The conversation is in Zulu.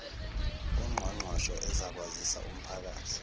ungqongqoshe uzakwazisa umphakathi